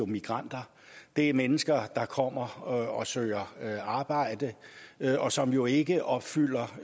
migranter det er mennesker kommer og søger arbejde og som jo ikke opfylder